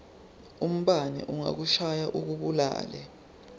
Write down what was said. umbane angakushaya akubulale